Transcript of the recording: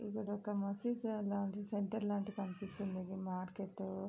ఇక్కడ ఒక మసీదు లాంటి సెంటర్ లాంటిది కనిపిస్తుంది ఇది మార్కెట్ --